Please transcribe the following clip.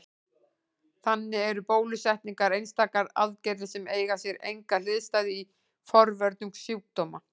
Þannig eru bólusetningar einstakar aðgerðir sem eiga sér enga hliðstæðu í forvörnum sjúkdóma.